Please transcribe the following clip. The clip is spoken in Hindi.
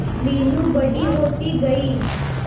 मीनू बड़ी होती गई